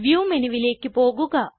view മെനുവിലേക്ക് പോകുക